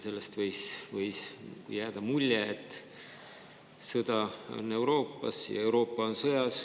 Sellest võis jääda mulje, et sõda on Euroopas ja Euroopa on sõjas.